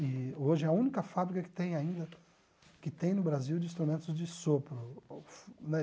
E hoje é a única fábrica que tem ainda, que tem no Brasil, de instrumentos de sopro né.